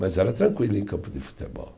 Mas era tranquilo em campo de futebol.